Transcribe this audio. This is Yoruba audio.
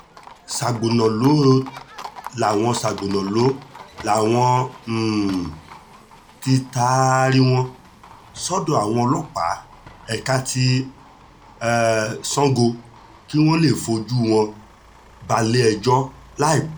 sagbonalo làwọn sagbonalo làwọn um tí taari wọn sọ́dọ̀ àwọn ọlọ́pàá ẹ̀ka ti um sango kí wọ́n lè fojú wọn balẹ̀-ẹjọ́ láìpẹ́